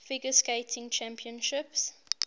figure skating championships